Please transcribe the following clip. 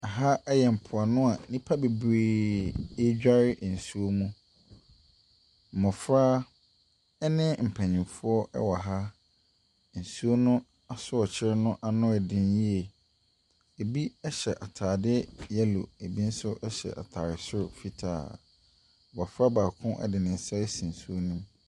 Ha yɛ mpoano a nnipa bebree ɛredware nsuo mu. Mmɔfra ne mpanimfoɔ wɔ ha. Nsuo no asɔɔkye no ano yɛ den yie. Ɛbi hyɛ ataare yellow, bi nso hyɛ ataare soro fitaa. Abɔfra baako ɛde ne asi nsuo no mu.